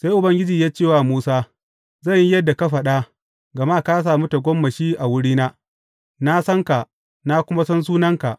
Sai Ubangiji ya ce wa Musa, Zan yi yadda ka faɗa, gama ka sami tagomashi a wurina, na san ka, na kuma san sunanka.